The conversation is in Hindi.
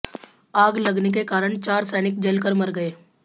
आग लगने के कारण चार सैनिक जल कर मारे गए